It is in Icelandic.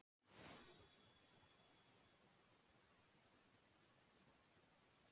Stendur þar stundarkorn einsog sært dýr sem óttast sinn eigin skrokk.